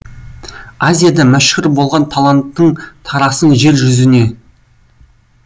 азияда мәшһүр болған талантыңтарасын жер жүзіне